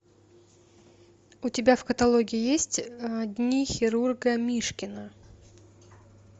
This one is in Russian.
у тебя в каталоге есть дни хирурга мишкина